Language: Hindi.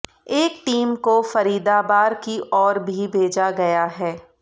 एक टीम को फरीदाबार की ओर भी भेजा गया है